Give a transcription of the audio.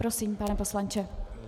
Prosím, pane poslanče.